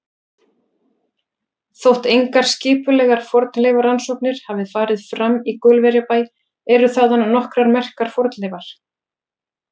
Þótt engar skipulegar fornleifarannsóknir hafi farið fram í Gaulverjabæ eru þaðan nokkrar merkar fornleifar.